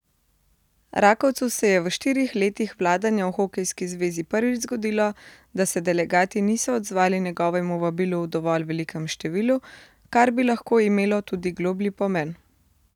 Rakovcu se je v štirih letih vladanja v hokejski zvezi prvič zgodilo, da se delegati niso odzvali njegovemu vabilu v dovolj velikem številu, kar bi lahko imelo tudi globlji pomen.